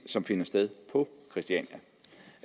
som finder sted på christiania